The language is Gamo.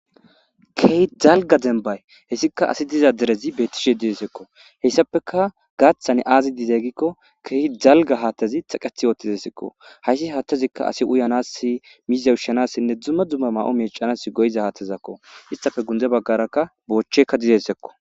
Keehi dalgga deenban hayssikka asi dizza derezzi betteshe dizaysakko hayssappeka gaththan azi de'za gikko keehi dalgga haththazi teqqeththi oththizayssatakko hayssa haththazikka asi uyanas mizza ushshanassinne dumma dumma mayo mec'anas go'izza haththakko issithappe guyye bagarakka bochcheka dizayssakko.